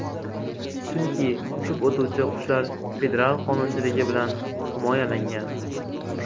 Chunki uchib o‘tuvchi qushlar federal qonunchiligi bilan himoyalangan.